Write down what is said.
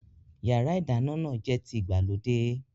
Yàrá-ìdáná náà jẹ́ ti ìgbàlódé